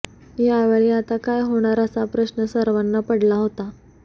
यावेळी आता काय होणार असा प्रश्न सर्वांना पडला होता